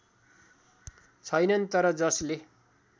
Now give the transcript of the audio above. छैनन् तर जसले